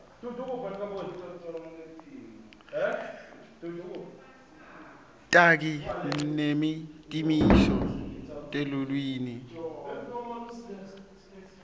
takhi netimiso telulwimi